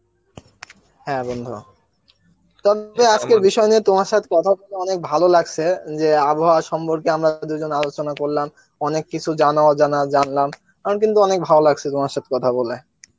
হ্যাঁ বন্ধু তবে বিষয় নিয়ে তোমার সথে কথা বলে অনেক ভালো লাগসে, যে আবহাওয়া সম্পর্কে আমরা দুজন আলোচনা করলাম অনেক কিছু জানা অজানা জানলাম, আমার কিন্তু অনেক ভালো লাগছে তোমার সাথে কথা বলে